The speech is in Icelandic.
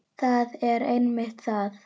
Það er einmitt það.